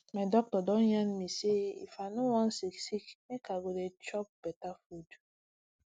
my doctor don yarn me say if i no wan sick sick make i go dey chop better food